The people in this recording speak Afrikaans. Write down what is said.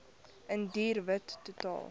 indiër wit totaal